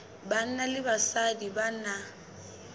banna le basadi ba na